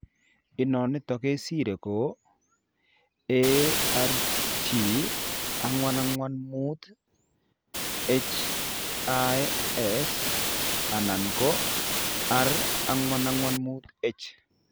Inonitok kesire ko Arg445His anan ko R445H